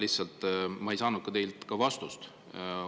Aga ma ei saanud teilt vastust.